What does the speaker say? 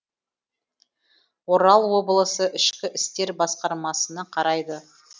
орал облысы ішкі істер басқармасына қарайды